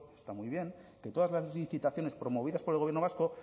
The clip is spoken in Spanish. está muy bien que todas las licitaciones promovidas por el gobierno vasco